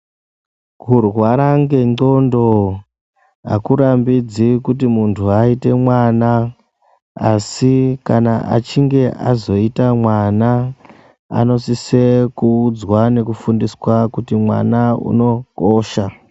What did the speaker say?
Kurwara ngendxondo hakurambidzi kuti muntu aite mwana. Asi kana achinge azoite mwana anosise kuudzwa nekufundiswa kuti mwana unokosha.